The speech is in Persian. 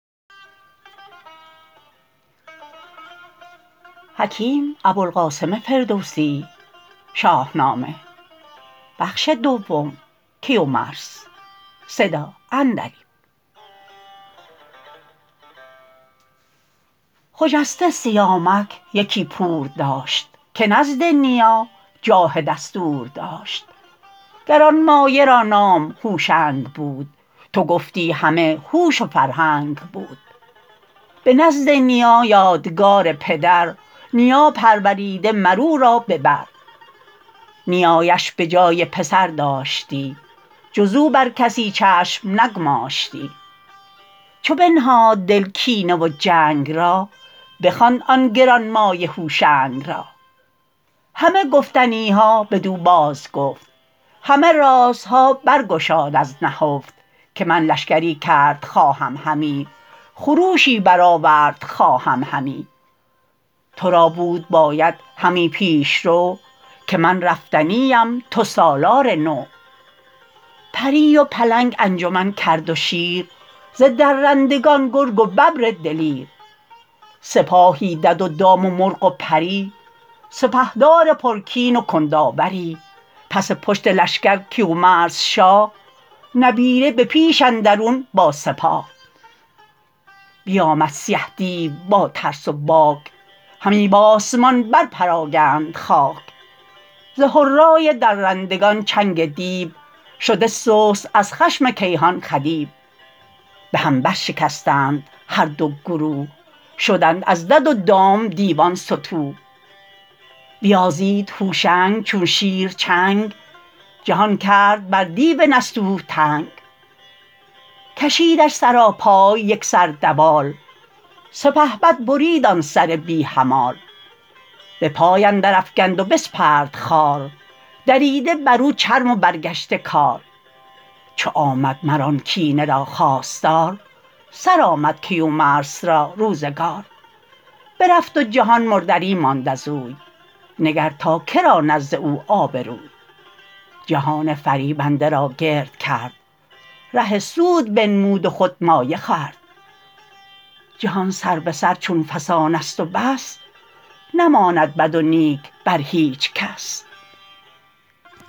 خجسته سیامک یکی پور داشت که نزد نیا جاه دستور داشت گرانمایه را نام هوشنگ بود تو گفتی همه هوش و فرهنگ بود به نزد نیا یادگار پدر نیا پروریده مر او را به بر نیایش به جای پسر داشتی جز او بر کسی چشم نگماشتی چو بنهاد دل کینه و جنگ را بخواند آن گرانمایه هوشنگ را همه گفتنی ها بدو بازگفت همه رازها بر گشاد از نهفت که من لشکری کرد خواهم همی خروشی برآورد خواهم همی تو را بود باید همی پیشرو که من رفتنی ام تو سالار نو پری و پلنگ انجمن کرد و شیر ز درندگان گرگ و ببر دلیر سپاهی دد و دام و مرغ و پری سپهدار پرکین و کنداوری پس پشت لشکر کیومرث شاه نبیره به پیش اندرون با سپاه بیامد سیه دیو با ترس و باک همی بآسمان بر پراگند خاک ز هرای درندگان چنگ دیو شده سست از خشم کیهان خدیو به هم برشکستند هر دو گروه شدند از دد و دام دیوان ستوه بیازید هوشنگ چون شیر چنگ جهان کرد بر دیو نستوه تنگ کشیدش سراپای یک سر دوال سپهبد برید آن سر بی همال به پای اندر افگند و بسپرد خوار دریده بر او چرم و برگشته کار چو آمد مر آن کینه را خواستار سرآمد کیومرث را روزگار برفت و جهان مردری ماند ازوی نگر تا که را نزد او آبروی جهان فریبنده را گرد کرد ره سود بنمود و خود مایه خورد جهان سر به سر چو فسانست و بس نماند بد و نیک بر هیچ کس